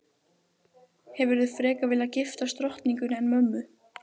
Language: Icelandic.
Hefðirðu frekar viljað giftast drottningunni en mömmu?